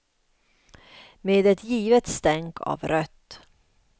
Med ett givet stänk av rött.